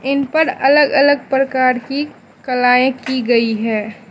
इन पर अलग अलग प्रकार की कलाएं की गई है।